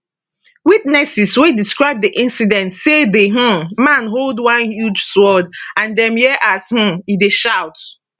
witnesses wey describe di incident say di um man hold one huge sword and dem hear as um e dey shout